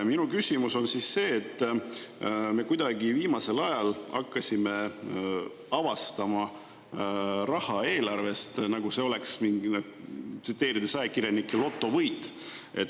Minu küsimus on selle kohta, et me kuidagi viimasel ajal oleme hakanud avastama eelarvest raha, nagu see oleks mingi – tsiteerides ajakirjanikke – lotovõit.